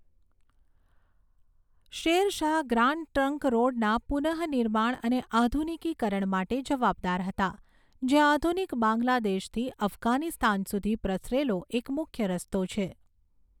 Share Shah grand trunk રોડના પુનઃનિર્માણ અને આધુનિકીકરણ માટે જવાબદાર હતા, જે આધુનિક બાંગ્લાદેશથી અફઘાનિસ્તાન સુધી પ્રસરેલો એક મુખ્ય રસ્તો છે.